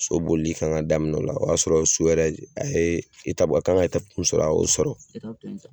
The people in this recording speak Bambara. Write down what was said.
So bolili kan ka daminɛ o y'a sɔrɔ so yɛrɛ e ye etapu a kan ka etapu mun sɔrɔ a y'o sɔrɔ